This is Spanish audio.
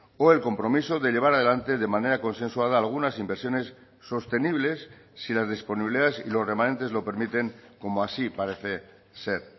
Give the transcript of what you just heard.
o el compromiso de llevar a delante de manera consensuada algunas inversiones sostenibles si las disponibilidades y los remanentes lo permiten como así parece ser